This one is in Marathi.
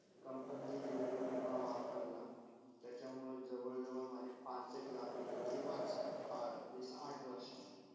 company ने दिलेल्या विमा वापरला त्याच्यामुळे जवळ -जवळ माझे पासष्ट लाख रुपे ते वाचले आठ वर्षा मधे.